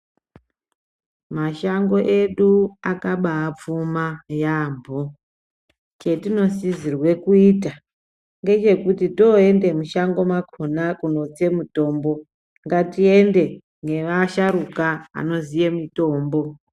Mashango edu akabapfuma yambo chetinosisirwa kuita toenda mushango makona kundotsa mutombo ngatiende nevasharukwa anoziya mitombo.